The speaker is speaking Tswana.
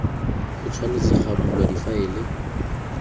go tshwanetse ga bulwa difaele